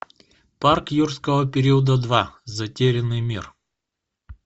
парк юрского периода два затерянный мир